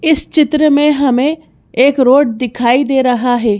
इस चित्र में हमें एक रोड दिखाई दे रहा है।